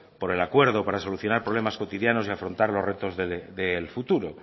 por el acuerdo para solucionar problemas cotidianos y afrontar los retos del futuro